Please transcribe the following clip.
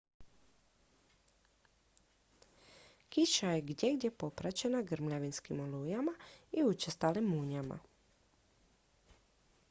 kiša je gdjegdje popraćena grmljavinskim olujama i učestalim munjama